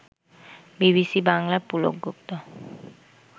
BBC বাংলার পুলক গুপ্ত